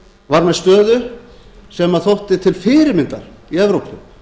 var með stöðu sem þótti til fyrirmyndar í evrópu